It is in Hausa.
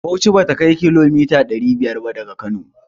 Bauchi bata kai kilomita ɗari biyar ba daga Kano.